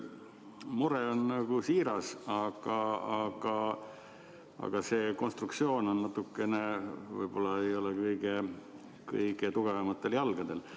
Mure on siiras, aga see konstruktsioon võib-olla ei ole kõige tugevamatel jalgadel.